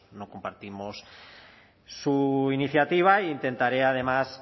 no compartimos su iniciativa intentaré además